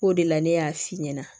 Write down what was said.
O de la ne y'a f'i ɲɛna